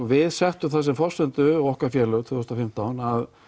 við settum það sem forsendu okkar félög tvö þúsund og fimmtán